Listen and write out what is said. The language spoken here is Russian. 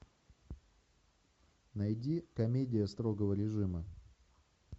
найди комедия строгого режима